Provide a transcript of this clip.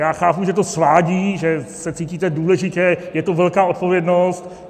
Já chápu, že to svádí, že se cítíte důležitě, je to velká odpovědnost.